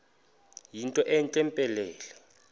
yinto entle mpelele